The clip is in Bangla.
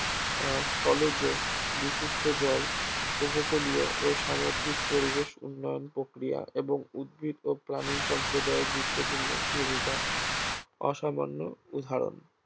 আহ স্থলজ, বিশুদ্ধ জল, উপকূলীয় ও সামুদ্রিক পরিবেশ উন্নয়ন প্রক্রিয়া এবং উদ্ভিদ ও প্রাণী সম্প্রদায়ের গুরুত্বপূর্ণ ভুমিকার অসামান্য উদাহরণ